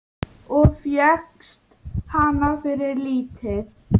Og fékkst hana fyrir lítið!